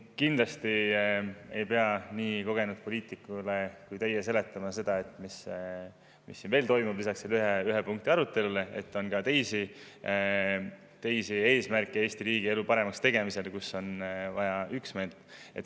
Kindlasti ei pea nii kogenud poliitikule kui teie seletama, mis siin veel toimub lisaks selle ühe punkti arutelule ja et Eesti riigi elu paremaks tegemiseks on ka teisi eesmärke, kus on vaja üksmeelt.